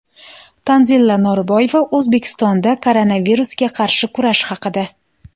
Tanzila Norboyeva O‘zbekistonda koronavirusga qarshi kurash haqida.